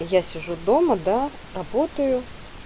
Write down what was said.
я сижу дома да работаю